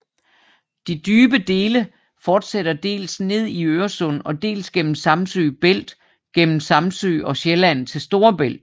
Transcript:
De dybe dele fortsætter dels ned i Øresund og dels gennem Samsø Bælt mellem Samsø og Sjælland til Storebælt